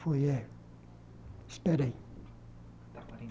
Foi, é... Espera aí.